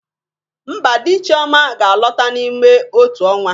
Mba, di Chioma ga-alọta n'ime otu ọnwa